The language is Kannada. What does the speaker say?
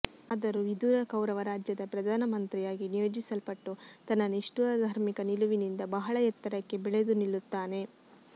ಆದರೂ ವಿದುರ ಕೌರವ ರಾಜ್ಯದ ಪ್ರಧಾನ ಮಂತ್ರಿಯಾಗಿ ನಿಯೋಜಿಸಲ್ಪಟ್ಟು ತನ್ನ ನಿಷ್ಠುರ ಧಾರ್ಮಿಕ ನಿಲುವಿನಿಂದ ಬಹಳ ಎತ್ತರಕ್ಕೆ ಬೆಳೆದು ನಿಲ್ಲುತ್ತಾನೆ